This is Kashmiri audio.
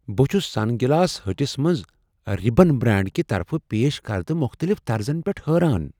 بہٕ چھس سن گلاس ہٹس منٛز رےبن برانڈ کہ طرفہٕ پیش کردٕ مختلف طرزن پیٹھ حٲران۔